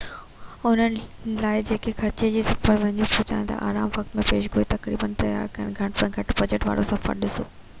انهن لاءِ جيڪي خرچ کي صفر جي ويجهو پهچائڻ لاءِ آرام وقت ۽ پيش گوئي قربان ڪرڻ لاءِ تيار آهن گهٽ ۾ گهٽ بجٽ وارو سفر ڏسو